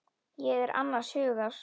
Ég er annars hugar.